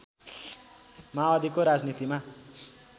माओवादीको राजनीतिमा